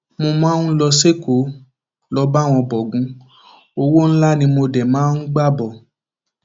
mo máa ń lọ sẹkọọ lọọ bá wọn bọgun owó ńlá ni mo dé máa ń gbà bọ